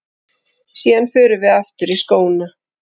Síðan förum við aftur í skóna.